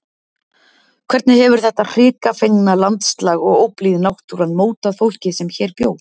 Hvernig hefur þetta hrikafengna landslag og óblíð náttúran mótað fólkið sem hér bjó?